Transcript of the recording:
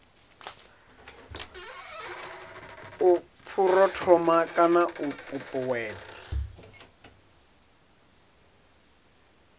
u phuromotha kana u ṱuṱuwedza